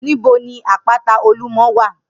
Nibó ni àpátá ólúmò wá?